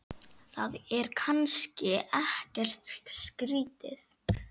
Það er kannski ekkert skrýtið?